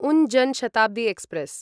उन जन् शताब्दी एक्स्प्रेस्